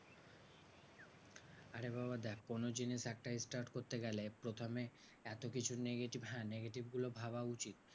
আরে বাবা দেখ কোনো জিনিস একটা start করতে গেলে প্রথমে এতকিছু negative হ্যাঁ negative গুলো ভাবা উচিত।